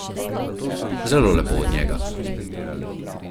Zelo lepo od njega.